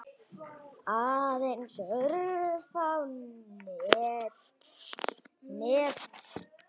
Aðeins örfá mál nefnd.